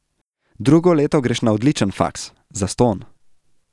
Drugo leto greš na odličen faks, zastonj.